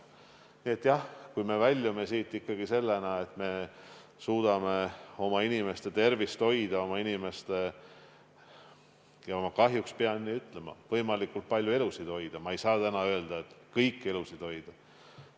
Nii et jah, kui me väljume siit ikkagi nii, et me suudame oma inimeste tervist hoida ja oma inimeste – kahjuks pean nii ütlema – elusid hoida, võimalikult palju, sest ma ei saa öelda, et kõiki elusid, siis on hästi.